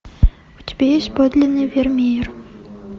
у тебя есть подлинный вермеер